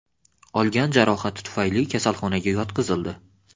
olgan jarohati tufayli kasalxonaga yotqizildi.